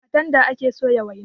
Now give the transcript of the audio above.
A tanda ake soya waina.